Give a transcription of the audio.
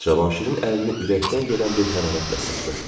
Cavanşirin əlini ürəkdən gələn bir hərarətlə sıxdı.